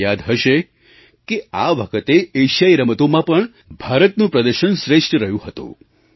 તમને યાદ હશે કે આ વખતે એશિયાઈ રમતોમાં પણ ભારતનું પ્રદર્શન શ્રેષ્ઠ રહ્યું હતું